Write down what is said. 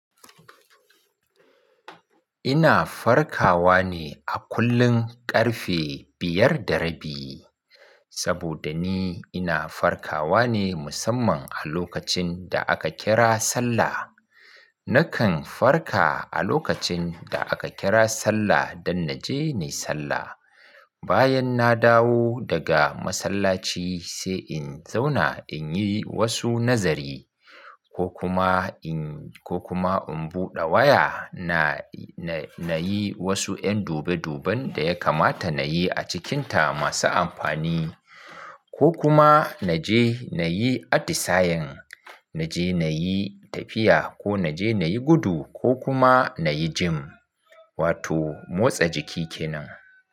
Ina farkawa ne a kullun ƙarfe biyar da rabi, saboda ni ina farkawa ne musamman a lokacin da aka kira sallah. Nakan farka a lokacin da aka kira sallah don na je in yi sallah. Bayan na dawo daga masallaci sai in zauna in yi wasu nazari ko kuma in, ko kuma in buɗe waya na, na yi wasu 'yan dube duben da ya kamata na yi a cikinta masu amfani ko kuma na je na yi atisayen, na je na yi tafiya ko na je na yi gudu ko kuma na yi gym wato motsa jiki kenan.